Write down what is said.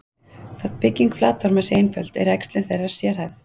Þótt bygging flatorma sé einföld, er æxlun þeirra sérhæfð.